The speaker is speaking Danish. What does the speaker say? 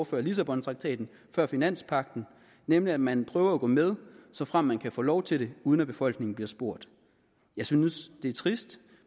før lissabontraktaten før finanspagten nemlig at man prøver at gå med såfremt man kan få lov til det uden at befolkningen bliver spurgt jeg synes det er trist